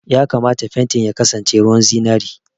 Ya kamata fentin ya kasance ruwan zinari!